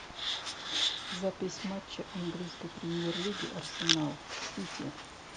запись матча английской премьер лиги арсенал с сити